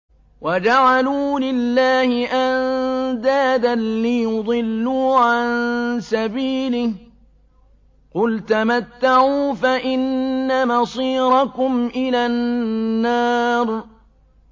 وَجَعَلُوا لِلَّهِ أَندَادًا لِّيُضِلُّوا عَن سَبِيلِهِ ۗ قُلْ تَمَتَّعُوا فَإِنَّ مَصِيرَكُمْ إِلَى النَّارِ